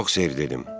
Yox, Ser, dedim.